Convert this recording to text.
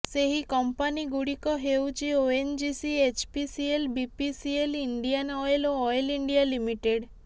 ସେହି କଂପାନିଗୁଡ଼ିକ ହେଉଛି ONGC HPCL BPCL Indian oil ଓ ଅଏଲ୍ ଇଣ୍ଡିଆ ଲିମିଟେଡ୍